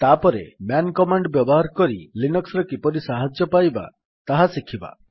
ତାପରେ man command ବ୍ୟବହାର କରି ଲିନକ୍ସ୍ ରେ କିପରି ସାହାଯ୍ୟ ପାଇବା ତାହା ଶିଖିବା